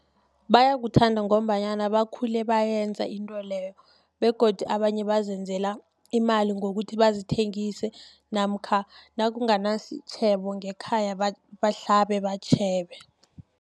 Bayakuthanda, ngombanyana bakhule bayenza intweleyo, begodu abanye bazenzela imali ngokuthi bazithengise, namkha nakunganasitjhebo ngekhaya bahlabe batjhebe.